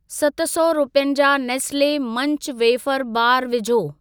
सत सौ रुपियनि जा नेस्ले मंच वेफ़र बारु विझो।